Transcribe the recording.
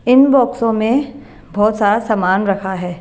इन बॉक्सों में बहुत सारा सामान रखा है।